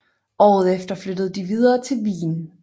Året efter flyttede de videre til Wien